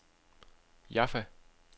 Jaffa